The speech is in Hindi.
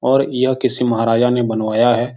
और यह किसी महाराजा ने बनवाया है।